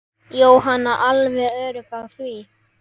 Jóhann: Alveg öruggur á því?